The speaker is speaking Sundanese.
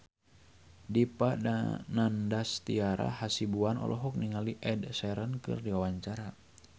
Dipa Nandastyra Hasibuan olohok ningali Ed Sheeran keur diwawancara